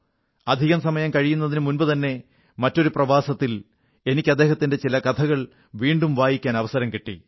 അധികം സമയം കഴിയുന്നതിനു മുമ്പുതന്നെ മറ്റൊരു പ്രവാസത്തിൽ എനിക്ക് അദ്ദേഹത്തിന്റെ ചില കഥകൾ വീണ്ടും വായിക്കാൻ അവസരം കിട്ടി